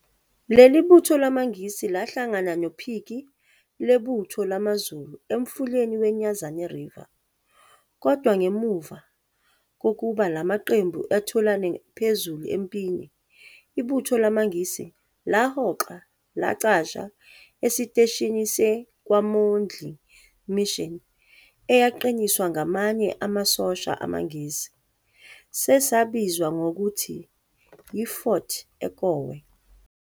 Leli butho lamaNgisi, lahlangana nophiki lebutho lamaZulu emfuleni we- Nyezane River, kodwa ngemuva kokuba la maqembu etholane phezulu empini, ibutho lamaNgisi lahoxa lacasha esiteshini se-KwaMondi Mission eyaqiniswa ngamanye amasosha amaNgisi, sasesibizwa ngokuthi yi-Fort Ekowe.